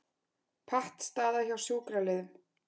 Pattstaða hjá sjúkraliðum